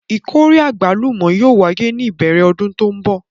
Ìkórè àgbálùmọ́ yóò wáyé ní ìbẹ̀rẹ̀ ọdún tó ń bọ̀.